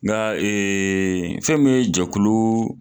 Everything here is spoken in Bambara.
Nka ee fɛn moin ye jɛkulu